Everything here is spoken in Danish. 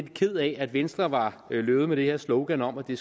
ked af at venstre var løbet med det her slogan om at det